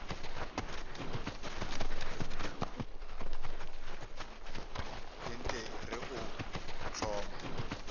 ke nt re o hloma